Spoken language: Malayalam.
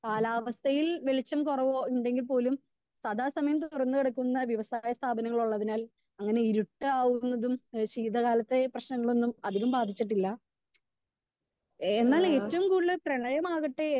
സ്പീക്കർ 2 കാലാവസ്ഥയിൽ വെളിച്ചം കുറവുണ്ടെങ്കിൽ പോലും സദാ സമയത്ത് തുറന്നു കിടക്കുന്ന വ്യവസായ സ്ഥാപനങ്ങൾ ഉള്ളതിനാൽ അങ്ങനെ ഇരുട്ടാവുന്നതും ഏഹ് ശീതകാലത്തെ പ്രശ്നങ്ങളൊന്നും അധികം ബാധിച്ചിട്ടില്ല. എന്നാൽ ഏറ്റവും കൂടുതൽ പ്രളയമാകട്ടെ